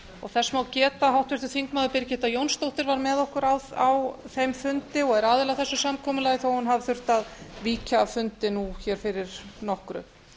þess má geta að háttvirtur þingmaður birgitta jónsdóttir var með okkur á þeim fundi og er aðili að þessu samkomulagi þó hún hafi þurft að víkja af fundi nú fyrir nokkru